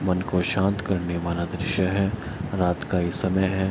मन को शांत करने वाला दृश्य है रात का ये समय है।